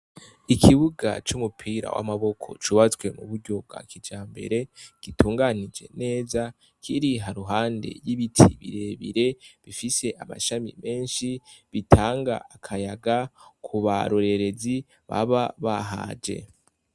Ikibuga cumupira wamaboko cubatswe muburyo bwakijambere gitunganije neza kiri haruhande yibiti birebire bifise amashami menshi bitanga akayaga kubarorerezi baba bahaje